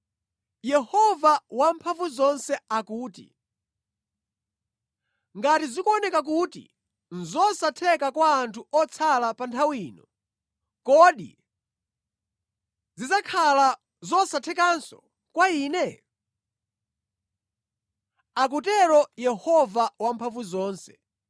Yehova Wamphamvuzonse akuti, “Ngati zikuoneka kuti nʼzosatheka kwa anthu otsala pa nthawi ino, kodi zidzakhala zosathekanso kwa Ine?” akutero Yehova Wamphamvuzonse.